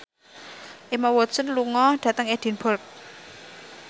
Emma Watson lunga dhateng Edinburgh